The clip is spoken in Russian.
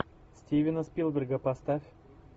стивена спилберга поставь